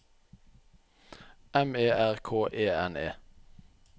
M E R K E N E